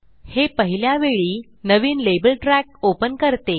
हे पहिल्या वेळी नविन लेबल ट्रॅक ओपन करते